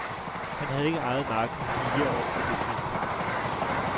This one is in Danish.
Han havde ikke ejet marken i fire år på det tidspunkt.